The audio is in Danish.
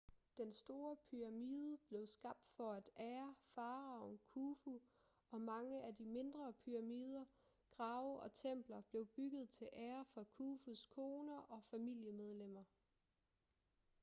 den store pyramide blev skabt for at ære faraoen khufu og mange af de mindre pyramider grave og templer blev bygget til ære for khufus koner og familiemedlemmer